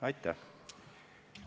Aitäh!